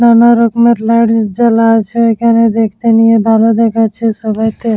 নানা রকমের লাইট জ্বালা আছে এখানে দেখতে নিয়ে ভালো দেখাচ্ছে সবাইকে।